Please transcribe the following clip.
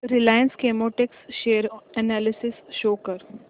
Reliance Chemotex share analysis show कर